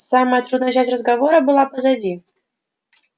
самая трудная часть разговора была позади